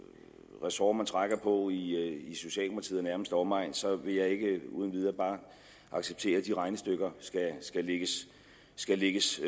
ressort man trækker på i socialdemokratiet og nærmeste omegn så vil jeg ikke uden videre bare her acceptere at de regnestykker skal lægges